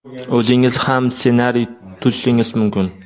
o‘zingiz ham ssenariy tuzishingiz mumkin.